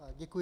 Děkuji.